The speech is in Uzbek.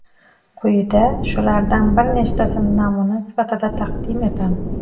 Quyida shulardan bir nechtasini namuna sifatida taqdim etamiz .